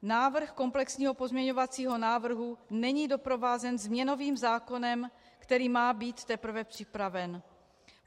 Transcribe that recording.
Návrh komplexního pozměňovacího návrhu není doprovázen změnovým zákonem, který má být teprve připraven.